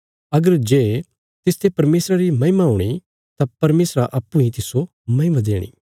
अगर जे तिसते परमेशरा री महिमा हूणी तां परमेशरा अप्पूँ इ तिस्सो महिमा देणी